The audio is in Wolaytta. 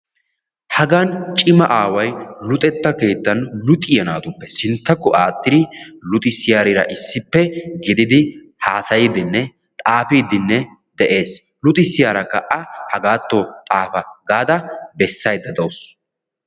Hagan cimaa aaway luxetta keettan luxiya naatuppe sintta aaxxiddi haasayidde de'ees. Luxissiyaara a hagaatto ootta gaadda bessayide de'awussu.